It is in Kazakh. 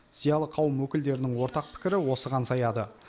зиялы қауым өкілдерінің ортақ пікірі осыған саяды